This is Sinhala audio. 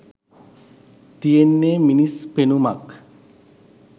තියෙන්නේ මිනිස් පෙනුමක්